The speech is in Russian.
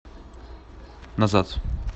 назад